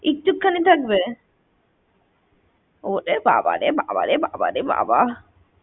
একটুখানি থাকবে? ওরে বাবারে বাবারে বাবা।